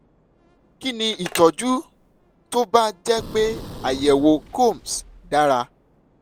kí ni itọ́jú tó bá jẹ́ pé àyẹ̀wò coombs dára?